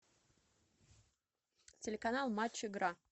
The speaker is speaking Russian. телеканал матч игра